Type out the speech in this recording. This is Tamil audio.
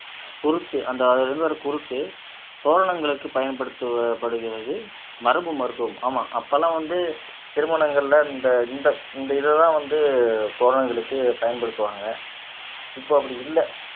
குறுக்கு அந்த அதுல இருந்து வர குருத்து தோரணங்களுக்கு பயன்படுத்த படுகிறது மரபு மருத்துவம் ஆமா அப்ப எல்லாம் வந்து திருமணங்கள்ல இந்த இந்த இந்த இதைதான் வந்து தோரணங்களுக்கு பயன்படுத்துவாங்க இப்ப அப்படி இல்லை